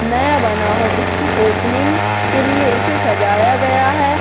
नया बना हो इसकी ओपनिंग के लिए इसे सजाया गया है।